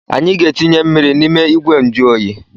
Anyị ga-etinye mmiri n’ime igwenjụoyi